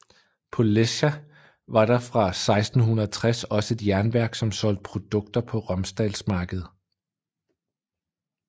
På Lesja var der fra 1660 også et jernværk som solgte produkter på Romsdalsmarkedet